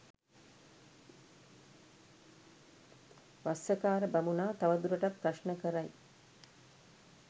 වස්සකාර බමුණා තවදුරටත් ප්‍රශ්න කරයි.